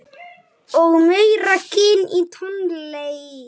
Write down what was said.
Og meira gin og tónik.